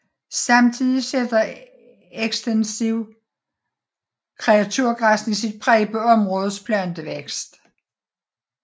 Samtidig sætter ekstensiv kreaturgræsning sit præg på områdets plantevækst